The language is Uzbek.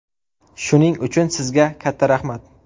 Shuning uchun, sizga katta rahmat.